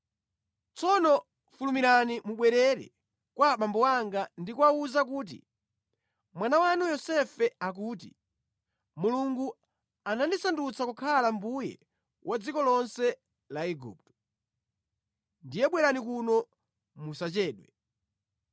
Tsono fulumirani mubwerere kwa abambo anga ndi kuwawuza kuti, ‘Mwana wanu Yosefe akuti, Mulungu anandisandutsa kukhala mbuye wa dziko lonse la Igupto. Ndiye bwerani kuno musachedwe.